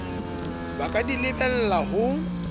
ba ka di lebellang ho